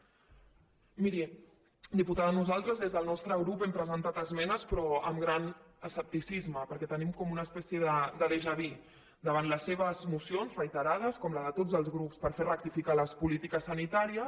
miri diputada nosaltres des del nostre grup hem presentat esmenes però amb gran escepticisme perquè tenim com una espècie de déjà vu davant les seves mocions reiterades com les de tots els grups per fer rectificar les polítiques sanitàries